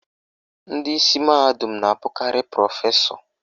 Ndị isi mahadum na-abụkarị prọfesọ